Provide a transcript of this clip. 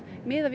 við